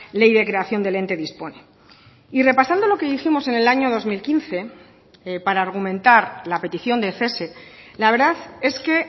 ley de creación del ente dispone y repasando lo que dijimos en el año dos mil quince para argumentar la petición de cese la verdad es que